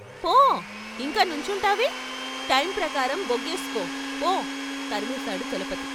పో ఇంకా నుంచుంటావే టైం ప్రకారం బొగేస్కో పో తరిమేశాడు చలపతి.